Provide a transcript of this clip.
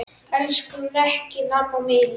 Elsku Mekkín amma mín.